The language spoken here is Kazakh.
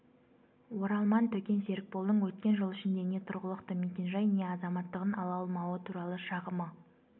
оралман төкен серікболдың өткен жыл ішінде не тұрғылықты мекенжай не азаматтығын ала алмауы туралы шағымы